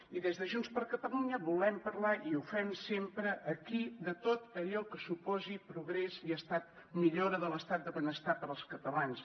i des de junts per catalunya volem parlar i ho fem sempre aquí de tot allò que suposi progrés i millora de l’estat del benestar per als catalans